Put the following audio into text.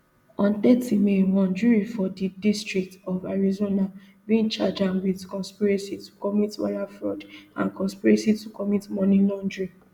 on thirty may one jury for di district of arizona bin charge am wit conspiracy to commit wire fraud and conspiracy to commit money laundering